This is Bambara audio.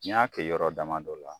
N y'a kɛ yɔrɔ damadɔ la